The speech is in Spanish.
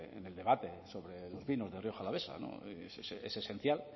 en el debate sobre vinos de rioja alavesa es esencial